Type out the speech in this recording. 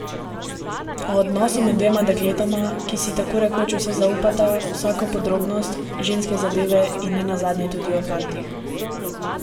O odnosu med dvema dekletoma, ki si tako rekoč vse zaupata, vsako podrobnost, ženske zadeve in ne nazadnje tudi o fantih ...